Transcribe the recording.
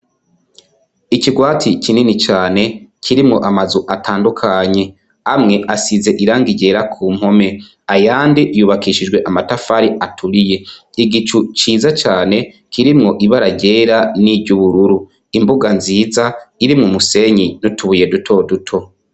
Ikirwati kinini cane, kirimwo amazu atandukanye. Amwe asize irangi ryera ku mpome , ayandi yubakishijwe amatafari aturiye . Igicu ciza cane kirimwo ibara ryera n' iry' ubururu. Imbuga nziza irimwo umusenyi n' utubuye duto duto.